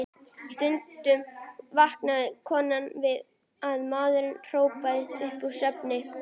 Stundum vaknaði konan við að maðurinn hrópaði upp úr svefni